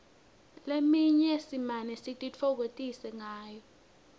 leminye simane sititfokotise ngayo